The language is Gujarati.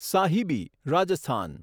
સાહિબી રાજસ્થાન